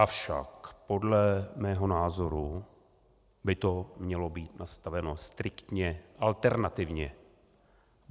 Avšak podle mého názoru by to mělo být nastaveno striktně alternativně.